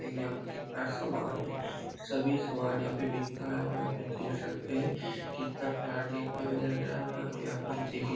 यहाँ पे कितना सामान है। सभी सामान यहाँ पे बिकता है और यहाँ पे देख सकते हैं कितना प्यारा देखने में लग रहा है और यहाँ पे आप लोग देख ही --